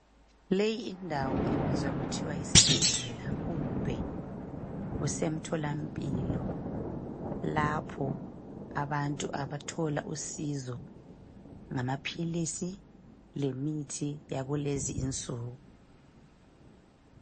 Leyi indawo ibizwa kuthwa yisibhedlela kumbe kuse emtholampilo ,lapho abantu abathola usizo ngamaphilizi lemithi yakulezi insuku.